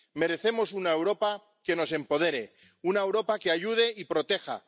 Merecemos una Europa que nos empodere, una Europa que ayude y proteja.